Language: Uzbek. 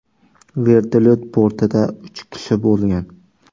Vertolyot bortida uch kishi bo‘lgan.